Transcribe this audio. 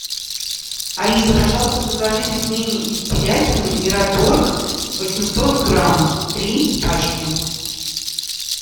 алиса пожалуйста закажи пельмени из телятины мираторг восемьсот грамм три пачки